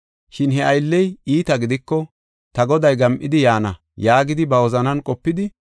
Shin he aylley iita gidiko, ‘Ta goday gam7idi yaana’ yaagidi ba wozanan qopidi,